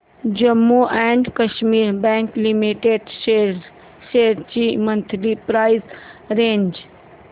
Jammu and Kashmir bank limited shares ची monthly price range